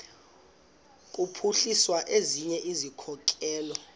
kuphuhlisa ezinye izikhokelo